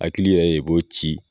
Hakili yɛrɛ de b'o ci